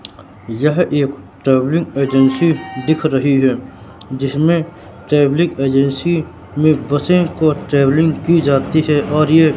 यह एक travelling agency दिख रही है जिसमें ट्रैवलिंग एजेंसी में बसे को ट्रैवलिंग की जाती है और ये--